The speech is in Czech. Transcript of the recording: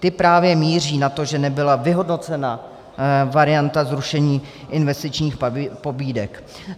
Ty právě míří na to, že nebyla vyhodnocena varianta zrušení investičních pobídek.